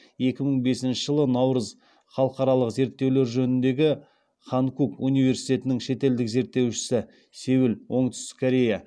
екі мың бесінші жылы халықаралық зерттеулер жөніндегі ханкук университетінің шетелдік зерттеушісі